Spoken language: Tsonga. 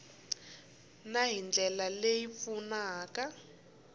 na hi ndlela leyi pfunaka